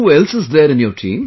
Who else is there in your team